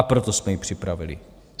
A proto jsme ji připravili.